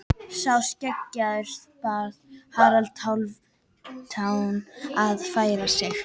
Sá skeggjaði bað Harald Hálfdán að færa sig.